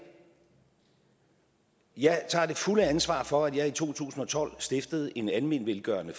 jeg tager det fulde ansvar for at jeg i to tusind og tolv stiftede en almenvelgørende